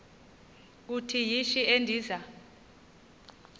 uthi yishi endiza